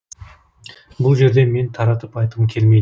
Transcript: бұл жерде мен таратып айтқым келмей